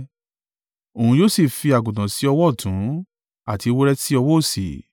Òun yóò sì fi àgùntàn sí ọwọ́ ọ̀tún àti ewúrẹ́ sí ọwọ́ òsì.